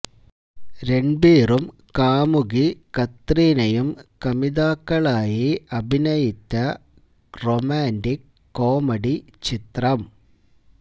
രണ്ബീറും കാമുകി കത്രീനയും കമിതാക്കളായി അഭിനയിത്ത റൊമാന്റിക് കോമഡി ചിത്രം